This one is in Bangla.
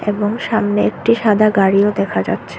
এবং সামনে একটি সাদা গাড়িও দেখা যাচ্ছে।